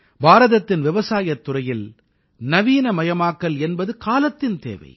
பாரதத்தின் விவசாயத் துறையில் நவீனமயமாக்கல் என்பது காலத்தின் தேவை